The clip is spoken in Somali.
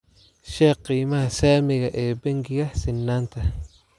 sheeg qiimaha saamiga ee bangiga sinnaanta